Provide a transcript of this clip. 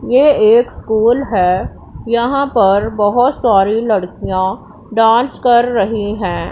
ये एक स्कूल है यहां पर बहुत सारी लड़कियां डांस कर रही हैं।